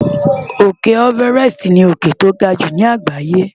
Òkè Everest ni òkè tó ga jù láàgbáyé.